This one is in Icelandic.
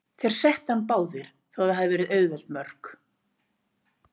Þeir settu hann báðir, þó að það hafi verið auðveld mörk.